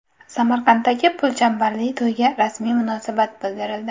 Samarqanddagi pulchambarli to‘yga rasmiy munosabat bildirildi.